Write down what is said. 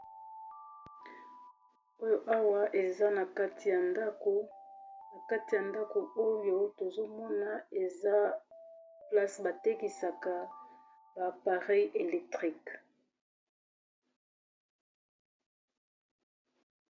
Oyo awa eza na kati ya ndako, na kati ya ndako oyo tozomona eza place batekisaka ba parei electrique.